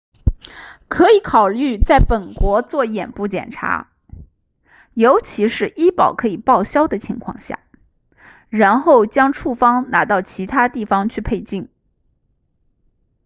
可以考虑在本国做眼部检查尤其是医保可以报销的情况下然后将处方拿到其他地方去配镜